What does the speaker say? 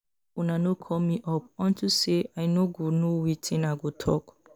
Make una no call me up unto say I no go know wetin I go talk